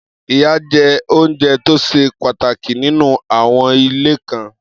Iyán jẹ́ oúnjẹ tó ṣe pàtàkì nínú àwon ilé kan.